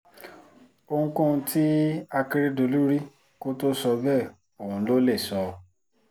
ohunkóhun tí akérèdọ́lù rí kó tóó sọ bẹ́ẹ̀ òun lo lè sọ